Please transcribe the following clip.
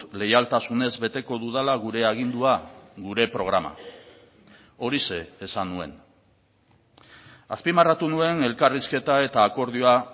leialtasunez beteko dudala gure agindua gure programa horixe esan nuen azpimarratu nuen elkarrizketa eta akordioa